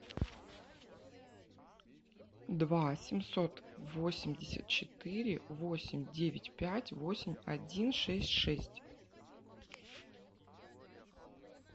два семьсот восемьдесят четыре восемь девять пять восемь один шесть шесть